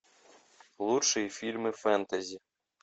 лучшие фильмы фэнтези